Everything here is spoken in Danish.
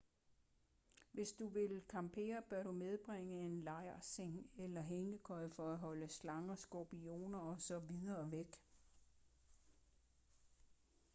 hvis du vil campere bør du medbringe en lejrseng eller hængekøje for at holde slanger skorpioner og så videre væk